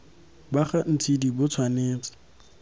ba ga ntshidi bo tshwanetse